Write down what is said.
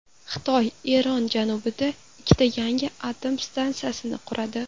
Xitoy Eron janubida ikkita yangi atom stansiyasini quradi.